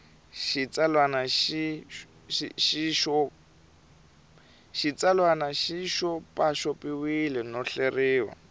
xitsalwana xi xopaxopiwile no hleriwa